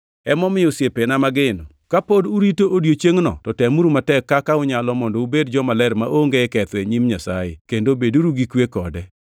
Emomiyo, osiepena mageno, ka pod urito odiechiengʼno to temuru matek kaka unyalo mondo ubed jomaler maonge ketho e nyim Nyasaye, kendo beduru gi kwe kode.